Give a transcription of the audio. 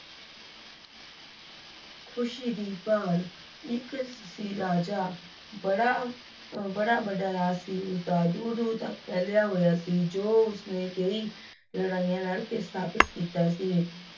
ਖ਼ੁਸ਼ੀ ਦੀ ਭਾਲ ਇੱਕ ਸੀ ਰਾਜਾ, ਬੜਾ ਅਹ ਬੜਾ ਵੱਡਾ ਰਾਜ ਸੀ ਉਸਦਾ, ਦੂਰ ਦੂਰ ਤੱਕ ਫੈਲਿਆ ਹੋਇਆ ਸੀ ਜੋ ਉਸਨੇ ਕਈ ਲੜਾਈਆਂ ਲੜ ਲੜ ਕੇ ਸਥਾਪਿਤ ਕੀਤਾ ਸੀ।